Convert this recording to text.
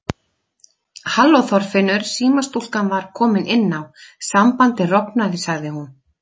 Halló Þorfinnur símastúlkan var komin inn á, sambandið rofnaði sagði hún.